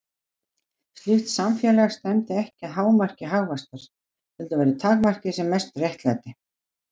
Slíkt samfélag stefndi ekki að hámarki hagvaxtar, heldur væri takmarkið sem mest réttlæti.